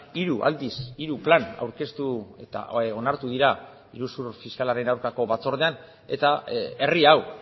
hiru aldiz hiru plan aurkeztu eta onartu dira iruzur fiskalaren aurkako batzordean eta herri hau